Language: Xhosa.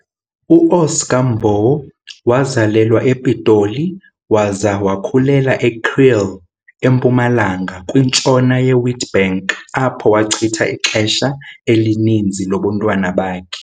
U-Oscar Mbo wazalelwa ePitoli waza wakhulela eKriel, eMpumalanga kwintshona ye-Witbank apho wachitha ixesha elininzi lobuntwana bakhe.